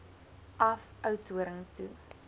af oudtshoorn toe